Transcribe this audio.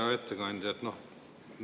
Hea ettekandja!